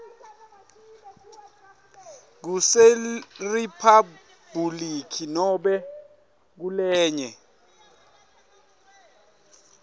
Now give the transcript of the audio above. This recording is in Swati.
kuseriphabhuliki nobe kulenye